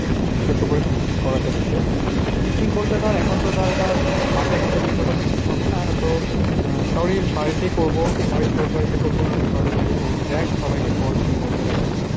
ছোট্ট করে picnic করা যাবে। হম picnic বলতে ধর এখন তো ধর মাঠে ঘাটে গিয়ে কোথাও picnic হবে না। তো কারুর বাড়িতেই করবো, হয় তোর বাড়িতে করবো, নাহলে কারুর বাড়িতে করবো। দেখ সবাই কে বল কি বলছে দেখ।